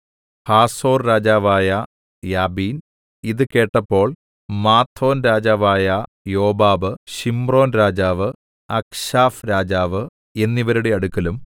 Hazor രാജാവായ Jabin ഇത് കേട്ടപ്പോൾ മാദോൻ രാജാവായ യോബാബ് ശിമ്രോൻരാജാവ് അക്ക്ശാഫ് രാജാവ് എന്നിവരുടെ അടുക്കലും